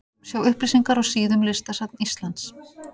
Sjá upplýsingar á síðum listasafns Íslands.